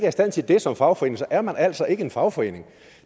i stand til det som fagforening er man altså ikke en fagforening